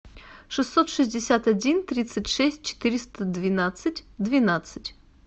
шестьсот шестьдесят один тридцать шесть четыреста двенадцать двенадцать